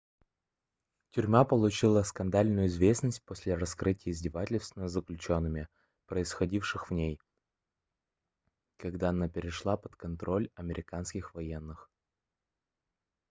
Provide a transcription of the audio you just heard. тюрьма получила скандальную известность после раскрытия издевательств над заключенными происходивших в ней когда она перешла под контроль американских военных